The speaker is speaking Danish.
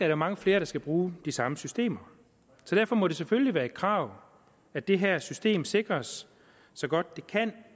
der mange flere der skal bruge de samme systemer så derfor må det selvfølgelig være et krav at det her system sikres så godt det kan